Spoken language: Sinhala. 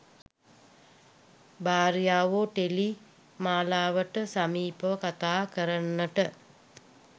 භාර්යාවෝ ටෙලි මාලාවට සමීපව කතා කරන්නට